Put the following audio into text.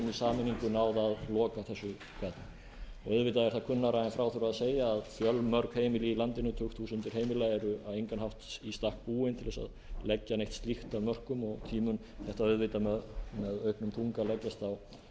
loka þessu gati auðvitað er það kunnara en frá þurfi að segja að fjölmörg heimili í landinu tugþúsundir heimila eru á engan hátt í stakk búin til að leggja neitt slíkt af mörkum og því mun þetta auðvitað með auknum þunga leggjast á